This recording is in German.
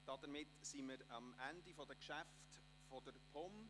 Damit haben wir die Geschäfte der POM beendet.